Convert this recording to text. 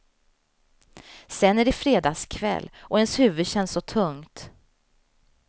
Sen är det fredagkväll, och ens huvud känns så tungt.